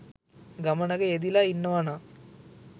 ගමනක යෙදිල ඉන්නවනං